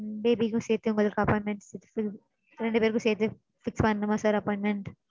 Baby க்கும் சேத்து உங்களுக்கு appointment fix ரெண்டு பேருக்கும் சேத்தே fix பண்ணனுமா sir appointment?